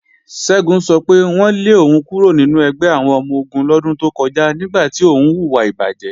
Ṣẹ́gun sọ pé wọ́n lé òun kúrò nínú ẹgbẹ́ àwọn ọmọ-ogun lọ́dún tó kọjá nígbà tí òun hùwà ìbàjé.